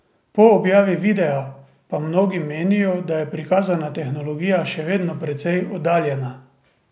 Po objavi videa pa mnogi menijo, da je prikazana tehnologija še vedno precej oddaljena.